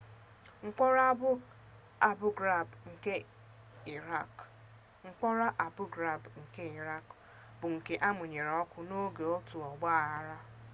mkpọrọ abu ghraib nke irakị bụ nke amụnyere ọkụ n'oge otu ogbaaghara